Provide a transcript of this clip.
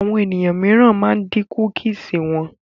Àwọn ènìyàn míìràn ma ń dín kúkìsì wọn